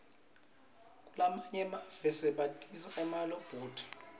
kulamanye emave basebentisa emalobhothi